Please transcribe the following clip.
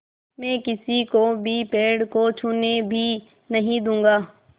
मैं किसी को भी पेड़ को छूने भी नहीं दूँगा